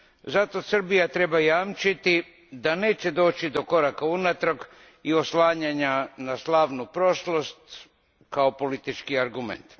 Zato Srbija treba jamčiti da neće doći do koraka unatrag i oslanjanja na slavnu prošlost kao politički argument.